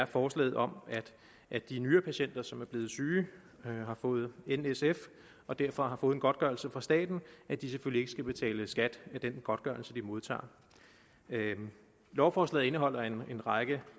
forslaget om at de nyrepatienter som er blevet syge og har fået nsf og derfor har fået en godtgørelse fra staten selvfølgelig ikke skal betale skat af den godtgørelse de modtager lovforslaget indeholder en række